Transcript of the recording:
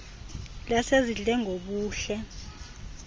lasezindle gbo buhle